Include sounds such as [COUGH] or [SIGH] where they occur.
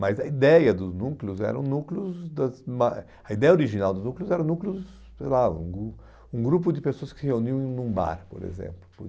Mas a ideia dos núcleos eram núcleos das, [UNINTELLIGIBLE] a ideia original dos núcleos era núcleos, sei lá, um gru um grupo de pessoas que se reuniam em um bar, por exemplo.